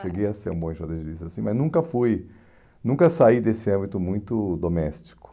Cheguei a ser um bom enxadrezista assim, mas nunca fui, nunca saí desse âmbito muito doméstico.